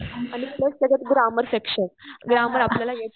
आणि प्लस त्याच्यात grammar section grammar आपल्याला